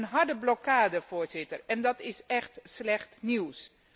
Een harde blokkade, Voorzitter, en dat is echt slecht nieuws.